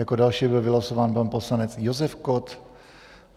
Jako další byl vylosován pan poslanec Josef Kott.